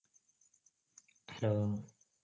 hello